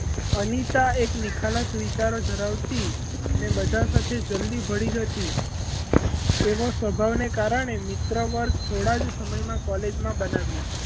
અનિતા એક નિખાલસ વિચાર ધરાવતી અને બધાં સાથે જલ્દી ભળી જતી એવો સ્વભાવ ને કારણે મિત્ર વર્ગ થોડાં સમયમાં college માં બનાવ્યું.